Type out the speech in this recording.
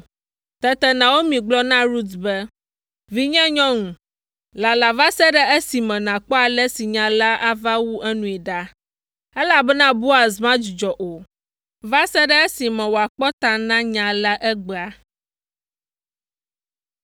Tete Naomi gblɔ na Rut be, “Vinyenyɔnu, lala va se ɖe esime nàkpɔ ale si nya la ava wu enui ɖa, elabena Boaz madzudzɔ o, va se ɖe esime wòakpɔ ta na nya la egbea.”